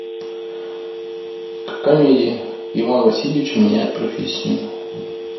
комедия иван васильевич меняет профессию